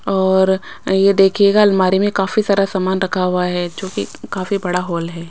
और ये देखिएगा अलमारी में काफी सारा समान रखा हुआ है जो की काफी बड़ा हॉल है।